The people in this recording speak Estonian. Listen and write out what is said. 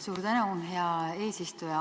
Suur tänu, hea eesistuja!